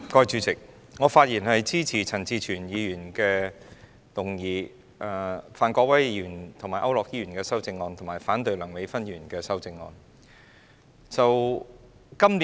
主席，我發言支持陳志全議員的議案，以及范國威議員和區諾軒議員的修正案，並反對梁美芬議員的修正案。